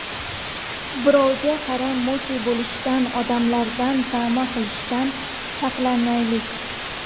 Birovga qaram, mute bo‘lishdan, odamlardan tama qilishdan saqlanaylik.